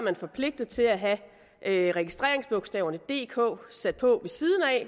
er forpligtet til at have have registreringsbogstaverne dk sat på ved siden af